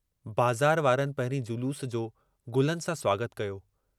बाज़ार वारनि पहिरीं जलूस जो गुलनि सां स्वागतु कयो।